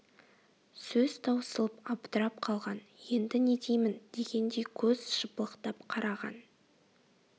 сөз таусылып абдырап қалған енді не деймін дегендей көз жыпылықтап қараған